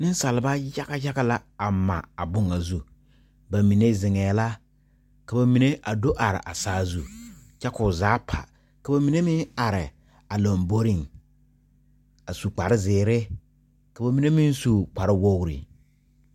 Nensaaleba yaga yaga la a mare a boŋ ŋa zu bamine zeŋɛɛ la ka ba mine a do are a saazu kyɛ k'o zaa pa ka ba mine meŋ are a lomboriŋ a su kpare zeere ka ba mine meŋ su kpare wogri.